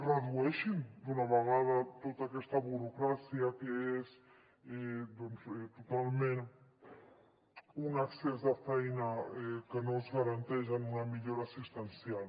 redueixin d’una vegada tota aquesta burocràcia que és totalment un excés de feina que no es tradueix en una millora assistencial